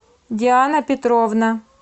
диана петровна